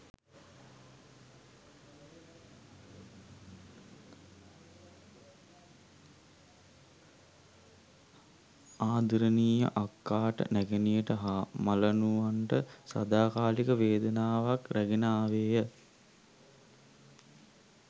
ආදරණීය අක්කාට නැගණියට හා මලනුවන්ට සදාකාලික වේදනාවක් රැගෙන ආවේය.